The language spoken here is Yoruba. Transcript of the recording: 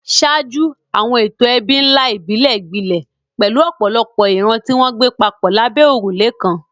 Ṣáájú, àwọn ètò ẹbí ńlá ìbílẹ̀ gbilẹ̀, pẹ̀lú ọ̀pọ̀lọpọ̀ ìran tí wọ́n ń gbé papọ̀ lábẹ́ òrùlé kan.